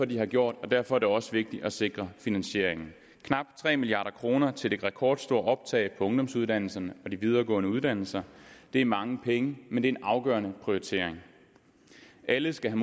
de har gjort og derfor er det også vigtigt at sikre finansieringen knap tre milliard kroner til det rekordstore optag på ungdomsuddannelserne og de videregående uddannelser det er mange penge men en afgørende prioritering alle skal